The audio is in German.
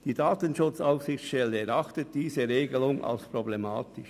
Die DSA erachtet diese Regelung als problematisch.